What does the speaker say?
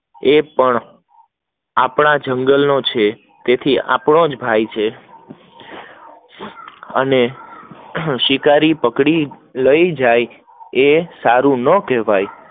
એ પણ આપણા જંગલ નો છે તે પણ આપનો જ ભાઈ છે અને શિકારી પકડાઈ લઇ જાય એ સાર ના કેવાય